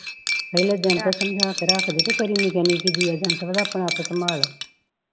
ਪਹਿਲੇ ਦਿਨ ਤੋਂ ਸਮਝਾ ਕੇ ਰੱਖਦੀ ਬਈ ਤੇਰੀ ਨਿੱਕੇ ਨਿਕੇ ਆਪਣਾ ਆਪ ਸੰਭਾਲ